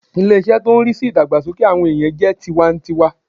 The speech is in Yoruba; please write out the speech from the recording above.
Ilé- isé tó n rí sí ìdàgbàsókè àwọn ènìyàn jẹ́ ti tiwa n tiwa